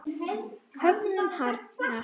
Höggin harðna.